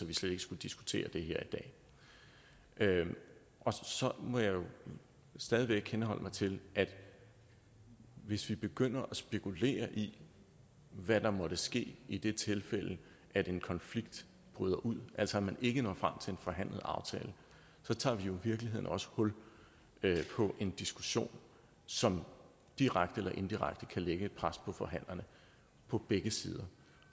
vi slet ikke skulle diskutere det her i dag så må jeg jo stadig væk henholde mig til at hvis vi begynder at spekulere i hvad der måtte ske i det tilfælde at en konflikt bryder ud altså at man ikke når frem til en forhandlet aftale tager vi virkeligheden også hul på en diskussion som direkte eller indirekte kan lægge et pres på forhandlerne på begge sider